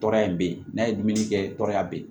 Tɔɔrɔya in bɛ yen n'a ye dumuni kɛ tɔɔrɔya bɛ yen